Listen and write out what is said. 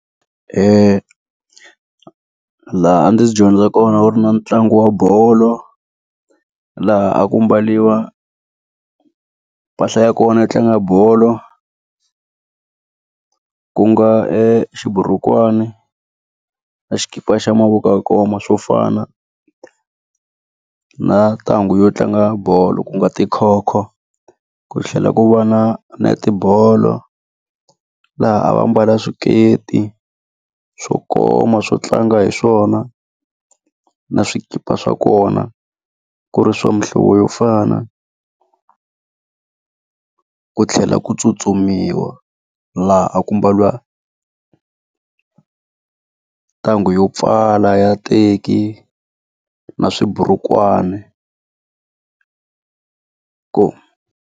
Laha a ndzi dyondza kona a ku ri na ntlangu wa bolo, laha a ku mbariwa mpahla ya kona yo tlanga bolo. Ku nga xiburukwani, na xikipa xa mavoko ya ku koma swo fana, na ntanghu yo tlanga bolo ku nga tikhokho. Ku tlhela ku va na netibolo, laha a va mbala swiketi hi swo koma swo tlanga hi swona, na swikipa swa kona, ku ri swa muhlovo yo fana. Ku tlhela ku tsutsumiwa laha a ku mbariwa ntanghu yo pfala ya teki, na swiburukwana .